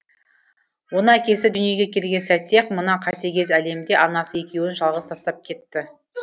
оны әкесі дүниеге келген сәтте ақ мына қатыгез әлемде анасы екеуін жалғыз тастап кетті